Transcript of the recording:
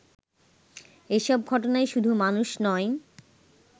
এসব ঘটনায় শুধু মানুষ নয়